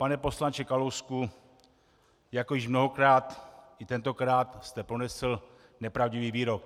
Pane poslanče Kalousku, jako již mnohokrát, i tentokrát jste pronesl nepravdivý výrok.